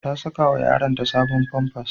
Ta sakawa yaronta sabon famfas.